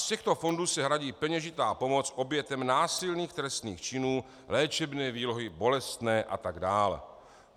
Z těchto fondů se hradí peněžitá pomoc obětem násilných trestných činů, léčebné výlohy, bolestné a tak dále.